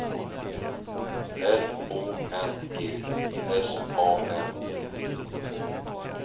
L Å N G S A M T